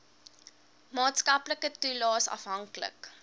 maatskaplike toelaes afhanklik